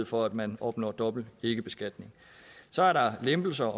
for at man opnår dobbelt ikkebeskatning så er der lempelser